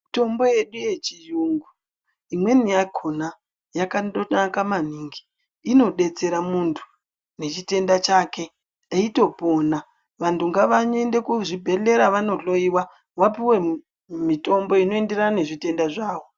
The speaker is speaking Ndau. Mutombo yedu yechiyungu imweni yakona yakandonaka maningi. Inodetsera muntu nechitenda chake eitopona. Vantu ngavaende kuzvibhedhlera vandohloyiwa. Vapuwe mutombo unoenderana nechitenda chake.